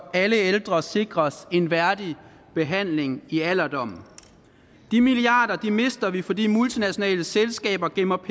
alle ældre sikres en værdig behandling i alderdommen de milliarder mister vi fordi multinationale selskaber gemmer